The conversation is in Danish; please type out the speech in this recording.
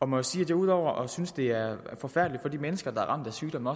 må jo sige at ud over at synes det er forfærdeligt for de mennesker der er ramt af sygdomme